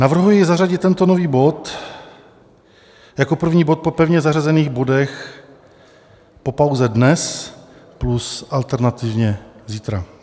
Navrhuji zařadit tento nový bod jako první bod po pevně zařazených bodech po pauze dnes plus alternativně zítra.